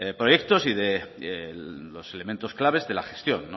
proyectos y de los elementos claves de la gestión